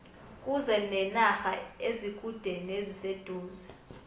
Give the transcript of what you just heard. kuze nenarha ezikude neziseduze